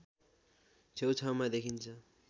छेउछाउमा देखिन्छ